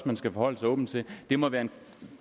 man skal forholde sig åbent til det må være en